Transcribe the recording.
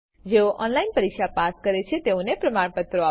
જેઓ ઓનલાઈન પરીક્ષા પાસ કરે છે તેઓને પ્રમાણપત્રો આપે છે